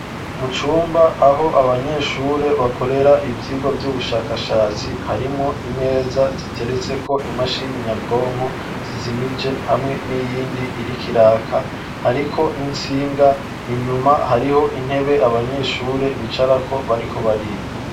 Mu cumba aho abanyeshure bakorera ibyigo by'ubushakashatsi harimo imeza ziteretse ko imashini nyabwonko zizimije hamwe n'iyindi irikiraka ariko n'insinga inyuma hariho intebe abanyeshure bicara ko bariko bariga.